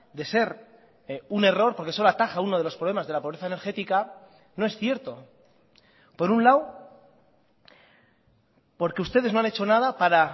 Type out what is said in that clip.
de ser un error porque solo ataja uno de los problemas de la pobreza energética no es cierto por un lado porque ustedes no han hecho nada para